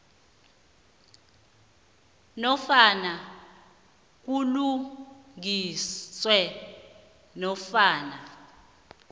nofana kulungiswe nofana